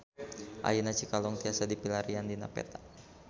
Ayeuna Cikalong tiasa dipilarian dina peta